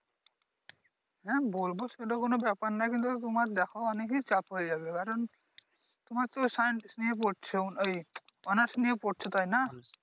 হ্যাঁ বলবো সেটা কোন ব্যাপার নাহ কিন্তু তোমার দেখো অনেকে চাপ হয়ে যাবে কারন তোমার তো সায়েন্স নিয়ে পড়ছো এই অনার্স নিয়ে পড়ছো তাইনা